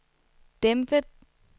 dæmpet